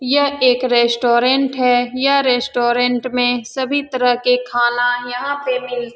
यह एक रेस्टोरेंट है यह रेस्टोरेंट में सभी तरह के खाना यहां पे मिलते --